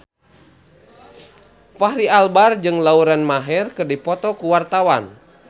Fachri Albar jeung Lauren Maher keur dipoto ku wartawan